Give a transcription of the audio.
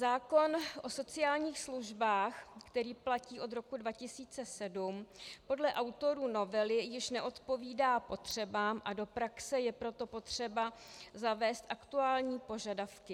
Zákon o sociálních službách, který platí od roku 2007, podle autorů novely již neodpovídá potřebám, a do praxe je proto potřeba zavést aktuální požadavky.